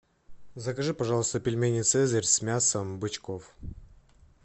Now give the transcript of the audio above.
закажи пожалуйста пельмени цезарь с мясом бычков